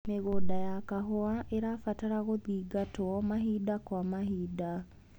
Mĩgũnda ya kahũa ĩrabatara gũthingatwo mahinda kwa mahinda.